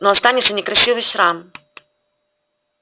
но останется некрасивый шрам